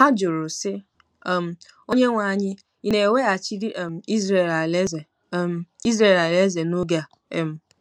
Ha jụrụ, sị um: “ Onyenwe anyị, ị̀ na-eweghachiri um Izrel alaeze um Izrel alaeze n’oge a um ?”